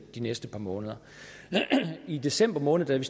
næste par måneder i december måned da vi